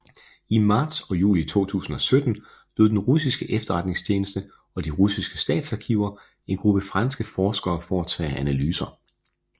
I marts og juli 2017 lod den russiske efterretningstjeneste og de russiske statsarkiver en gruppe franske forskere foretage analyser